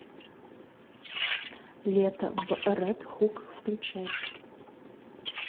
лето в ред хук включай